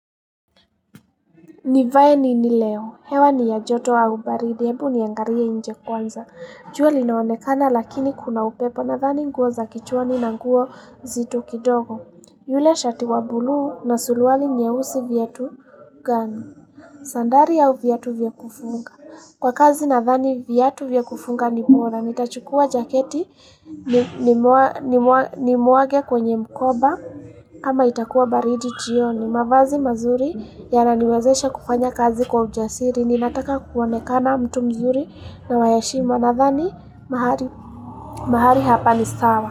Nivae nini leo. Hewa ni ya joto au baridi. Hebu niangalie inje kwanza. Jua linaonekana lakini kuna upepo nathani nguo za kichwani na nguo nzito kidogo. Yule shati wa buluu na suruwali nyeusi viatu gani. Sandari au viatu vya kufunga. Kwa kazi nathani viatu vya kufunga ni bora. Nitachukua jaketi ni muage kwenye mkoba. Ama itakuwa baridi jioni mavazi mazuri ya naniwezesha kufanya kazi kwa ujasiri ninataka kuonekana mtu mzuri na wa heshima nathani mahali hapa ni sawa.